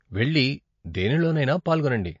వెళ్లి దేనిలోనైనా పాల్గొనండి.